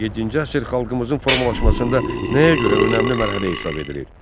Yeddinci əsr xalqımızın formalaşmasında nəyə görə önəmli mərhələ hesab edilir?